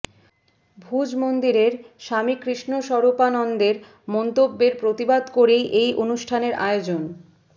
ভুজ মন্দিরের স্বামী কৃষ্ণস্বরূপানন্দের মন্তব্যের প্রতিবাদ করেই এই অনুষ্ঠানের আয়োজন